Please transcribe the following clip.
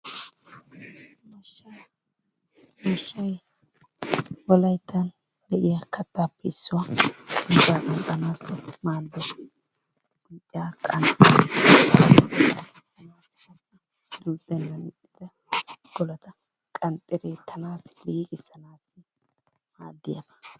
Mashshaa mashshay wolayttan de'iyaa kattaappe issuwaa unccaaa qanxxanaassi maaddees. Unccaa qanxxidi duuxxeenna ixxida golaata qanxxi duuttanaassi liiqissanaassi maaddiyaabaa.